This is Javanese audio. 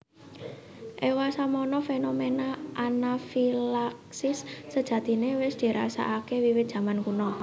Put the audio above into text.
Ewasemono fenomena anafilaksis sejatine wis dirasakake wiwit jaman kuna